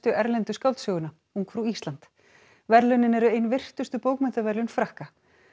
erlendu skáldsöguna ungfrú Ísland verðlaunin eru ein virtustu bókmenntaverðlaun Frakka